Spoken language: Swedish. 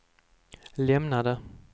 lämnade